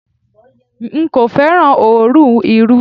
N kò féràn òórùn Irú.